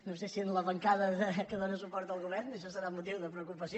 no sé si en la bancada que dóna suport al govern això serà motiu de preocupació